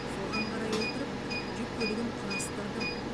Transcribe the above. соған қарай отырып жүк көлігін құрастырдым